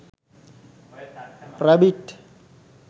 rabbit